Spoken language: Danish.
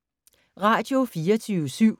Radio24syv